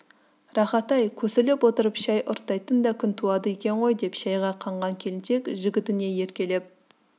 рахат-ай көсіліп отырып шай ұрттайтын да күн туады екен ғой деп шайға қанған келіншек жігітіне еркелеп